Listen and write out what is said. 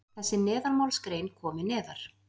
þessi neðanmálsgrein komi neðar.